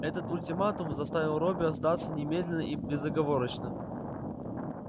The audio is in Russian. этот ультиматум заставил робби сдаться немедленно и безоговорочно